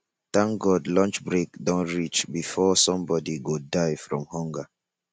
thank god lunch break don reach before somebody go die from hunger